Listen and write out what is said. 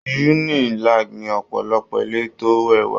Unilag ní ọ̀pọ̀lọpọ̀ ilé tó rẹwà.